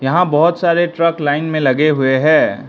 यहां बहोत सारे ट्रक लाइन में लगे हुए हैं।